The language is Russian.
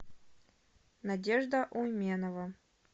надежда уменова